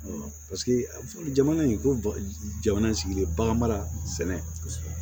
jamana in ko jamana sigi bagan mara sɛnɛ